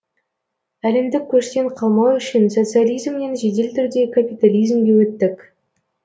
әлемдік көштен қалмау үшін социализмнен жедел түрде капитализмге өттік